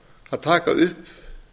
að taka upp